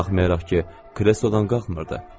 Baxmayaraq ki, kreslodan qalxmırdı.